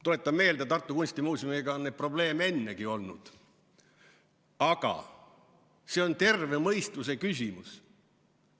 Tuletan meelde, et Tartu Kunstimuuseumiga on neid probleeme ennegi olnud, aga see on terve mõistuse küsimus.